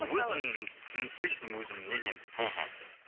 өзім лично өзімнің мнением мхм